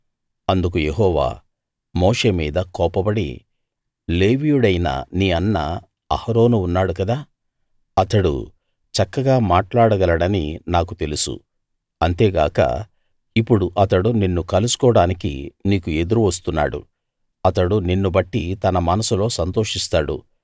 అందుకు యెహోవా మోషే మీద కోపపడి లేవీయుడైన నీ అన్న అహరోను ఉన్నాడు గదా అతడు చక్కగా మాట్లాడగలడని నాకు తెలుసు అంతేగాక ఇప్పుడు అతడు నిన్ను కలుసుకోవడానికి నీకు ఎదురు వస్తున్నాడు అతడు నిన్ను బట్టి తన మనసులో సంతోషిస్తాడు